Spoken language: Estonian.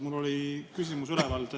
Mul oli ka küsimus üleval.